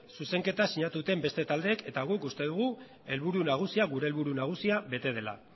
zuzenketa sinatu duten beste taldeek eta guk uste dugu helburu nagusia gure helburu nagusia bete dela